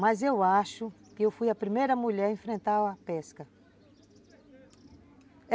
Mas eu acho que eu fui a primeira mulher a enfrentar a pesca.